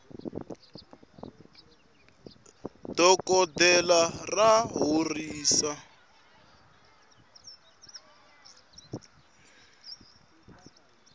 dokoltela ra horisa